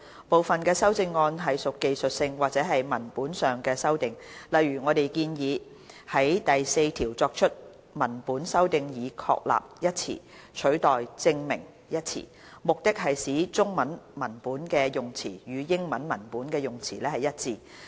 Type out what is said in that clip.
部分修正案屬技術性或文本上的修訂，例如我們建議對第4條作出文本修訂，以"確立"一詞取代"證明"一詞，務求使中文文本的用詞與英文文本的用詞一致。